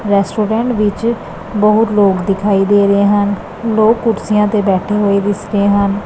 Restaurant ਵਿੱਚ ਬਹੁਤ ਲੋਕ ਦਿਖਾਈ ਦੇ ਰਹੇ ਹਨ ਲੋਕ ਕੁਰਸੀਆਂ ਤੇ ਬੈਠੇ ਹੋਏ ਦਿਸ ਰਹੇ ਹਨ।